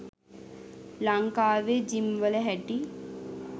ලංකාවේ ජිම් වල හැටි